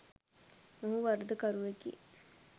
ඔහු වරදකරුවෙකි